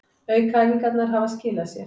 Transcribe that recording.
Aukaæfingarnar hafa skilað sér